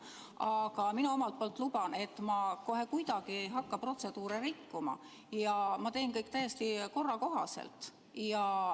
Aga ma luban, et ma kohe kuidagi ei hakka protseduure rikkuma ja teen kõik täiesti korra kohaselt.